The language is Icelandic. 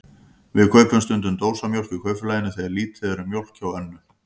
Við kaupum stundum dósamjólk í Kaupfélaginu þegar lítið er um mjólk hjá Önnu.